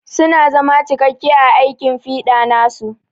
Su na zama cikakke a aikin fiɗa nasu.